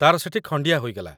ତା'ର ସେଠି ଖଣ୍ଡିଆ ହୋଇଗଲା